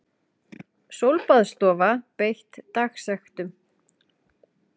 Sólbaðsstofa beitt dagsektum